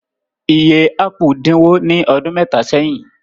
Iye ápù dínwó ní ọdún mẹ́ta sẹ́yìn.